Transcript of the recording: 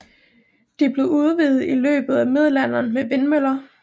De blev udvidet i løbet af middelalderen med vindmøller